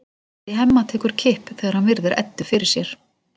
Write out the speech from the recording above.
Hjartað í Hemma tekur kipp þegar hann virðir Eddu fyrir sér.